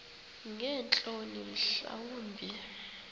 ngeentloni mhla wumbi